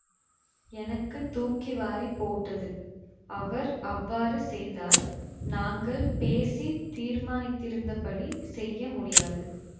எனக்கு தூக்கி வாரி போட்டது அவர் அவ்வாறு செய்தால் நாங்கள் பேசித் தீர்மானித்திருந்தபடி செய்ய முடியாது